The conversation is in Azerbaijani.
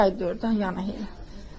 İki ay, dörd ay yana elə.